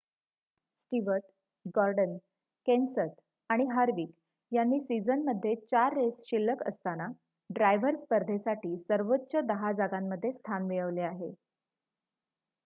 Stewart Gordon Kenseth आणि Harvick यांनी सिझनमध्ये चार रेस शिल्ल्क असताना ड्रायव्हर स्पर्धेसाठी सर्वोच्च दहा जागांमध्ये स्थान मिळवले आहे